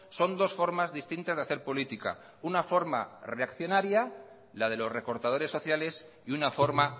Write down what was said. son dos formas distintas de hacer política una forma reaccionaria la de los recortadores sociales y una forma